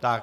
Tak.